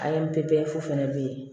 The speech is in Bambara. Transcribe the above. A ye n pepewu fɛnɛ be yen